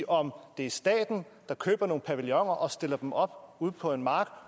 om det er staten der køber nogle pavilloner og stiller dem op ude på en mark